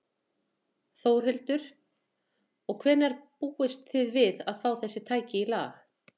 Þórhildur: Og hvenær búist þið við að fá þessi tæki í lag?